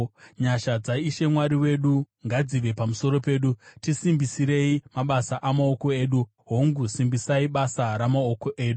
Nyasha dzaIshe Mwari wedu ngadzive pamusoro pedu; tisimbisirei mabasa amaoko edu, hongu, simbisai basa ramaoko edu.